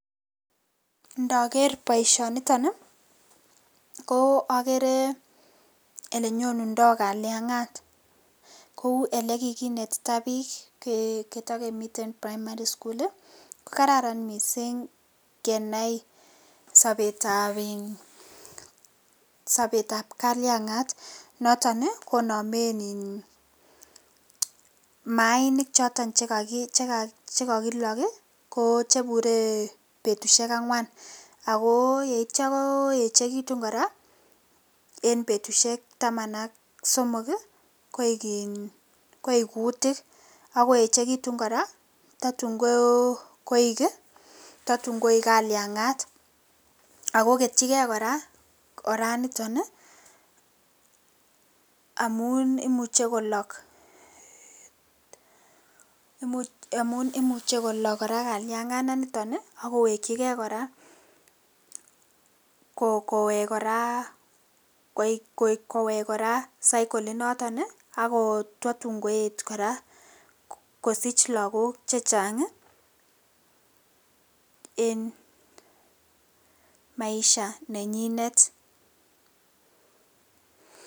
Indoker boisioniton ii ko okere elenyonundo kaliangat kou elekikinetita bik kotokemite primary school ii kokararan misink kenai sobetab ii, sobetab kaliangat noton konomen ii maainik choton chekokilok ii ko chebure betushek angwan ako yeitio koechekitun koraa en betushek taman ak somok ii koik iin koik kutik ak koechekitun koraa totun koik ii ,koik kaliangat ak koketchikee koraa oraniton ii ,amun imuche kolok, imuche kolok koraa kalianganiton ii ak kowekchigee koraa kowek koraa koik, koik kowek koraa cycle inoton ii ak kototun koet koraa kosich lagok chechang ii en maisha nenyinet.